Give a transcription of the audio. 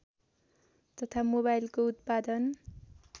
तथा मोबाइलको उत्पादन